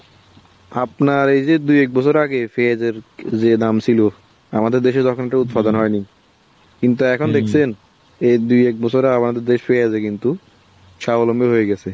আপনার এই যে দুই এক বছর আগে পেয়াজের যে দাম ছিল। আমাদের দেশে তখন তো উৎপাদন হয়নি। কিন্তু দেখছেন। এই দুই এক বছর আমাদের দেশ হয়েছে কিন্তু স্বাবলম্বী হইয়া গেছে।